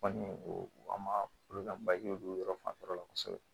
Kɔni o an ma olu ka bajiw yɔrɔ fanfɛla kosɛbɛ